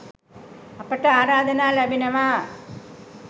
අපට ආරාධනා ලැබෙනවා